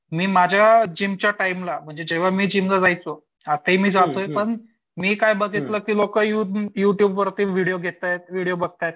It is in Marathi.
मी माझ्या जिमच्या टाईमला की जेंव्हा मी जिमला जायचो आताही मी जातोय पण मी काय बघितलं ते लोकं युट्युबवरती विडिओ बघतायेत व्हिडीओ घेतायेत.